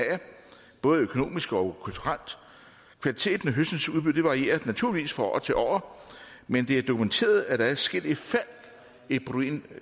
både økonomisk og kulturelt kvaliteten af høstens udbytte varierer naturligvis fra år til år men det er dokumenteret at der er sket et